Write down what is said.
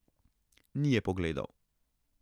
Ni je pogledal.